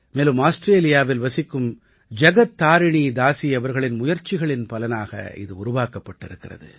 மேலும் ஆஸ்ட்ரேலியாவில் வசிக்கும் ஜகத் தாரிணீ தாசி அவர்களின் முயற்சிகளின் பயனாக இது உருவாக்கப்பட்டிருக்கிறது